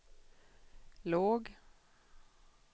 låg